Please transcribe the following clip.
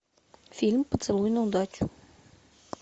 фильм поцелуй на удачу